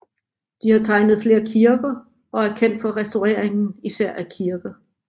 De har tegnet flere kirker og er kendt for restaureringer især af kirker